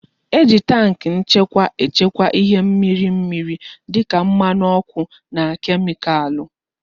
E ji tankị nchekwa echekwa ihe mmiri mmiri dịka mmanụ ọkụ na kemikalụ